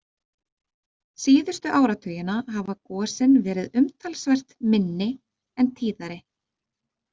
Síðustu áratugina hafa gosin verið umtalsvert minni en tíðari.